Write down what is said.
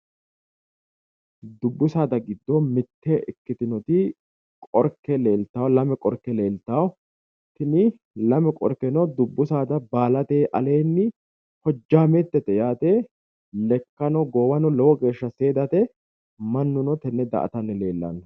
Dubbi saada giddo mitte ikkitinotta Qorke lame uurite nootta mannu daa"atanni no, iseno lowo geeshsha hojametenna biinfalitete